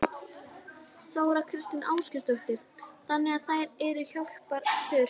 Þóra Kristín Ásgeirsdóttir: Þannig að þær eru hjálpar þurfi?